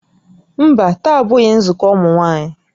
Mba, taa abụghị nzukọ ụmụ nwaanyị